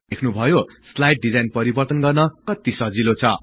देख्नुभयो slide design परिवर्तन गर्न कति सजिले छ